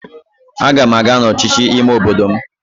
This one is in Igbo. Aga m aga n'ọchịchị ime obodo m